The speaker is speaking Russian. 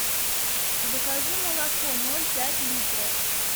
закажи молоко ноль пять литров